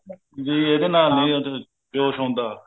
ਵੀ ਇਹਦੇ ਨਾਲ ਨੀ ਉਹ ਕੁਛ ਹੁੰਦਾ